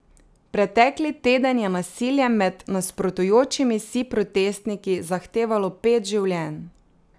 Pretekli teden je nasilje med nasprotujočimi si protestniki zahtevalo pet življenj.